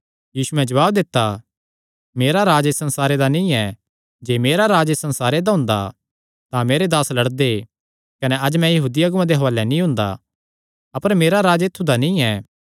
यीशुयैं जवाब दित्ता मेरा राज्ज इस संसारे दा नीं ऐ जे मेरा राज्ज इस संसारे दा हुंदा तां मेरे दास लड़दे कने अज्ज मैं यहूदी अगुआं दे हुआलैं नीं हुंदा अपर मेरा राज्ज ऐत्थु दा नीं ऐ